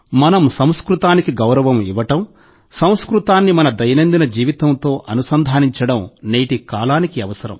మనం సంస్కృతానికి గౌరవం ఇవ్వడం సంస్కృతాన్ని మన దైనందిన జీవితంతో అనుసంధానించడం నేటి కాలానికి అవసరం